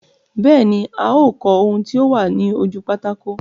Bẹ́ẹ̀ ní, a ó kọ ohun tí ó wà ní ojú pátákó.